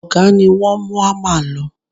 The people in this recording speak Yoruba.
Ọ̀gá ni wọ́n mú ámà lọ